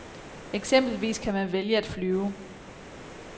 Eksempelvis kan man vælge at flyve.